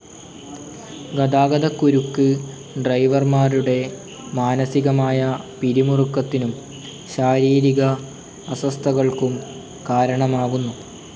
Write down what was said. ഗതാഗതക്കുരുക്കു് ഡ്രൈവർമാരുടെ മാനസികമായ പിരിമുറുക്കത്തിനും ശാരീരിക അസ്വസ്ഥകൾക്കും കാരണമാകുന്നു.